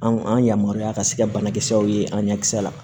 An yamaruya ka se ka banakisɛw ye an ɲakisɛ la